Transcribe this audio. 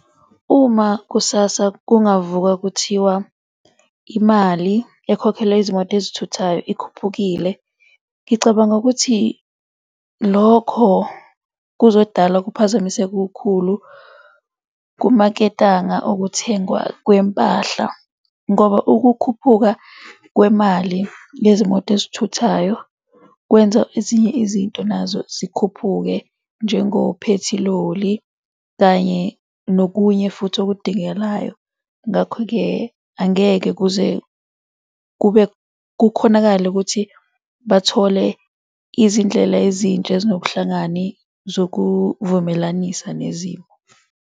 Uma kusasa kungavuka kuthiwa imali ekhokhelwa izimoto ezithuthayo ikhuphukile. Ngicabanga ukuthi lokho kuzodala ukuphazamiseka okukhulu kumaketanga okuthengwa kwempahla, ngoba ukukhuphuka kwemali yezimoto ezithuthayo kwenza ezinye izinto nazo zikhuphuke njengophethiloli, kanye nokunye futhi okudingelayo. Ngakho-ke angeke kuze kube kukhonakale ukuthi bathole izindlela ezintsha ezinobuhlakani zokuvumelanisa nezimo.